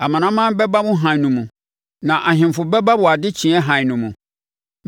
Amanaman bɛba wo hann no mu, na Ahemfo bɛba wo adekyeɛ hann no mo.